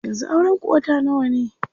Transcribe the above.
Yanzu auren ku wata nawa ne?